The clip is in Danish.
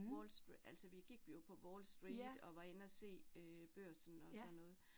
Wall altså vi gik jo på Wall Street, og var inde at se øh børsen og sådan noget